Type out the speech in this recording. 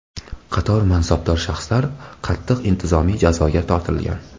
Qator mansabdor shaxslar qattiq intizomiy jazoga tortilgan.